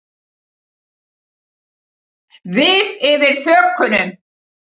Við yfir þökunum.